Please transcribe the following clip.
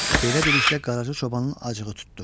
Belə dedikdə Qaracı Çobanın acığı tutdu.